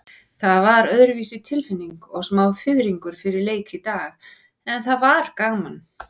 Það var öðruvísi tilfinning og smá fiðringur fyrir leik í dag, en það var gaman.